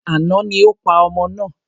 Àná ni o pa ọmọ náà.